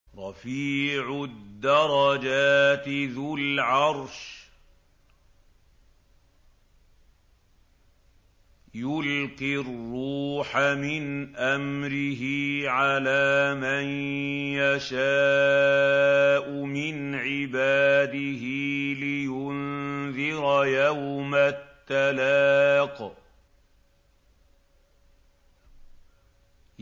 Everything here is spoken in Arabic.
رَفِيعُ الدَّرَجَاتِ ذُو الْعَرْشِ يُلْقِي الرُّوحَ مِنْ أَمْرِهِ عَلَىٰ مَن يَشَاءُ مِنْ عِبَادِهِ لِيُنذِرَ يَوْمَ التَّلَاقِ